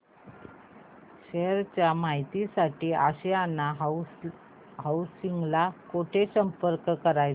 share च्या माहिती साठी आशियाना हाऊसिंग ला कुठे संपर्क करायचा